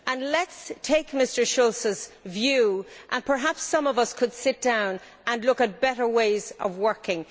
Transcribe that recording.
Let us take Mr Schulz's view perhaps some of us could sit down and look at better ways of working.